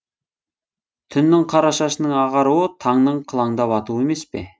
түннің қара шашының ағаруы таңның қылаңдап атуы емес пе